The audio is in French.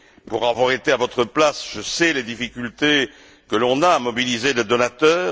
Pour avoir été à votre place, je sais les difficultés que l'on a à mobiliser les donateurs.